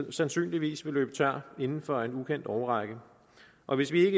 sandsynligvis vil løbe tør inden for en ukendt årrække og hvis vi